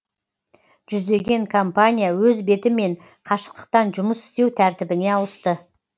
жүздеген компания өз бетімен қашықтықтан жұмыс істеу тәртібіне ауысты